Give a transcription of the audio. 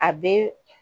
A bɛ